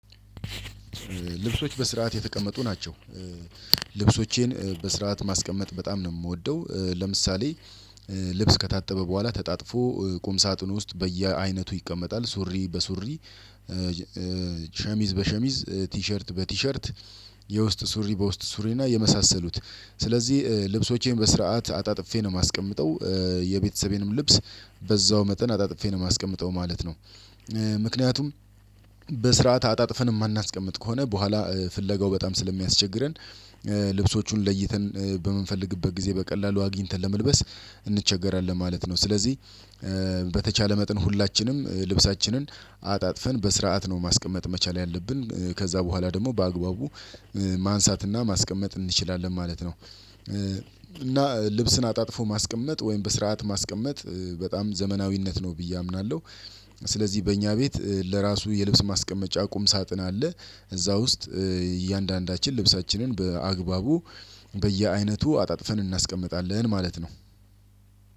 ልብሶች በስርዓት የተቀመጡ ናቸው። ልብሶቼን በስርዓት ማስቀመጥ በጣም ነው የምወደው። ለምሳሌ ልብስ ከታጠበ በኋላ ተጣጥፎ ቁም ሳጥን ውስጥ በየአይነቱ ይቀመጣል። ሱሪ በሱሪ ሸሚዝ በሸሚዝ ቲሸርት በቲሸርት የውስጥ ሱሪ በውስጥ ሱሪ እና የመሳሰሉት። ስለዚህ ልብሶቼን በስርዓት አጣጥፌ ነው የማስቀምጠው የቤተሰቤንም ልብስ በዛው መጠን አጣጥፌ ነው የማስቀምጠው ማለት ነው። ምክንያቱም በስርዓት አጣጥፈን የማናስቀምጥ ከሆነ በኋላ ፍለጋው በጣም ስለሚያስቸግረን። ልብሶቹን ለይተን በምንፈልግበት ጊዜ በቀላሉ አግኝተን ለመልበስ እንቸገራለን ማለት ነው። ስለዚህ በተቻለ መጠን ሁላችንም ልብሳችንን አጣጥፈን በስርዓት ነው ማስቀመጥ መቻል ያለብን ከዛ በኋላ ደግሞ በአግባቡ ማንሳትና ማስቀመጥ እንችላለን ማለት ነው። እና ልብስን አጣጥፎ ማስቀመጥ ወይም በስርዓት ማስቀመጥ በጣም ዘመናዊነት ነው ብዬ አምናለሁ። ስለዚህ በእኛ ቤት ለራሱ የልብስ ማስቀመጫ ቁም ሳጥን አለ። እዛ ውስጥ እያንዳንዳችን ልብሳችንን በአግባቡ በየአይነቱ አጣጥፈን እናስቀምጣለን ማለት ነው።